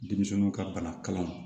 Denmisɛnninw ka bana kalan